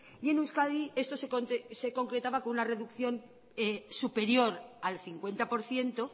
y en euskadi esto se concretaba con una reducción superior al cincuenta por ciento